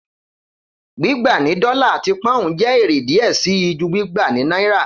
Gbigba ni dọla ati poun jẹ ere diẹ sii ju gbigba ni naira